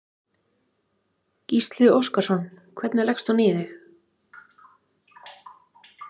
Gísli Óskarsson: Hvernig leggst hún í þig?